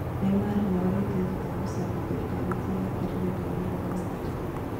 Neymar nĩorĩtie thutha wa gũcabithia ndereti yake rerenda-inĩ rwa Instagram